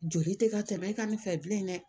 Joli tɛ ka tɛmɛ e ka nin fɛ bilen dɛ